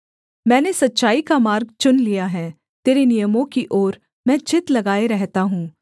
मैंने सच्चाई का मार्ग चुन लिया है तेरे नियमों की ओर मैं चित्त लगाए रहता हूँ